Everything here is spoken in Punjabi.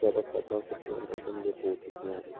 ਜ਼ਿਆਦਾ ਖਾਦਾਂ ਸਪਰੇਆਂ ਨਾਲ ਬੰਜ਼ਰ ਹੋ ਚੁੱਕੀਆਂ ਹਨ